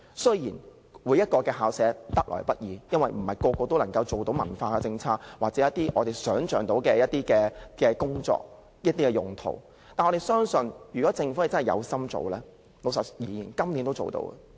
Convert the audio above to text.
雖然每間校舍也得來不易，因為不是每間都適合用作文化用途或我們想象到的工作，但我們相信，如果政府有心做，老實說，今年也可以做得到。